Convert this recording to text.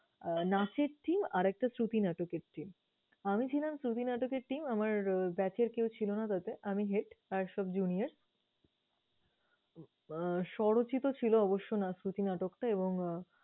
আহ নাচের team আর একটা শ্রুতি নাটকের team । আমি ছিলাম শ্রুতি নাটকের team, আমার batch এর কেউ ছিল না তাতে। আমি head আর সব junior । আহ স্বরচিত ছিল অবশ্য না শ্রুতি নাটকটা এবং